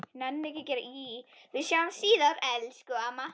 Við sjáumst síðar, elsku amma.